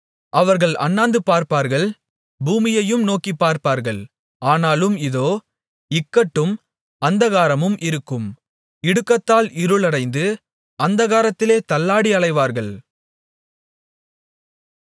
அவர்கள் அண்ணாந்துபார்ப்பார்கள் பூமியையும் நோக்கிப்பார்ப்பார்கள் ஆனாலும் இதோ இக்கட்டும் அந்தகாரமும் இருக்கும் இடுக்கத்தால் இருளடைந்து அந்தகாரத்திலே தள்ளாடி அலைவார்கள்